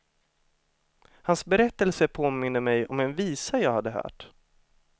Hans berättelse påminde mig om en visa jag hade hört.